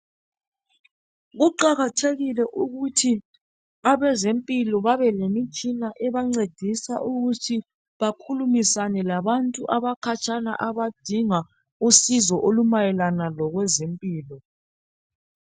Kuqakathekile ukuthi abezempilo babelemitshina ebancedisa ukuthi bakhulumisane labantu abakhatshana abadinga usizo olumayelana lokwezempilo.